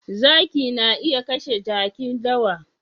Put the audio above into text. Zaki na iya kashe Jaki dawa